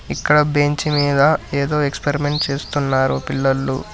ఇక్కడ బెంచ్ మీద ఏదో ఎక్స్పరిమెంట్ చేస్తున్నారు పిల్లలు.